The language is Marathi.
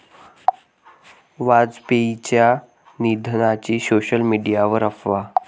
वाजपेयींच्या निधनाची सोशल मीडियावर अफवा